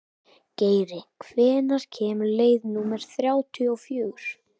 Geiri, hvenær kemur leið númer þrjátíu og fjögur?